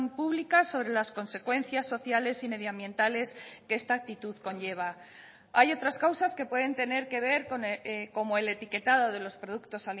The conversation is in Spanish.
pública sobre las consecuencias sociales y medioambientales que esta actitud conlleva hay otras causas que pueden tener que ver como el etiquetado de los productos